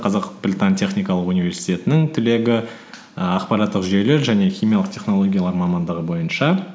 қазақ британ техникалық университетінің түлегі ііі ақпараттық жүйелер және химиялық технологиялар мамандығы бойынша